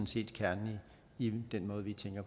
set kernen i den måde vi tænker